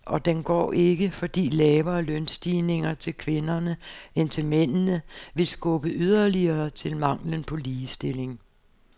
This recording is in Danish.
Og den går ikke, fordi lavere lønstigninger til kvinderne end til mændene vil skubbe yderligere til manglen på ligestilling.